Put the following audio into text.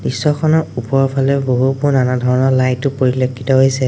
দৃশ্যখনৰ ওপৰৰ ফালে বহুতো নানা ধৰণৰ লাইটো ও পৰিলক্ষিত হৈছে।